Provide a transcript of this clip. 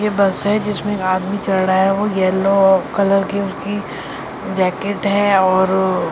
ये बस है जिसमें आदमी चल रहा है वो येलो कलर की उसकी जैकेट है और --